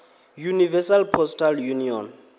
universal postal union